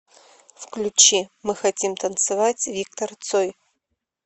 включи мы хотим танцевать виктор цой